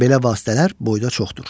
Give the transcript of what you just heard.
Belə vasitələr boyda çoxdur.